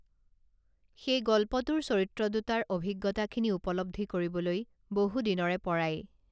সেই গল্পটোৰ চৰিত্ৰ দুটাৰ অভিজ্ঞতাখিনি উপলব্ধি কৰিবলৈ বহুদিনৰেপৰাই